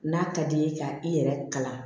N'a ka d'i ye ka i yɛrɛ kalan